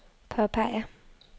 påpeger